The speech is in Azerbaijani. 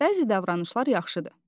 Bəzi davranışlar yaxşıdır.